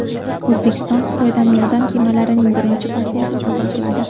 O‘zbekiston Xitoydan yordam kemalarining birinchi partiyasini qabul qiladi.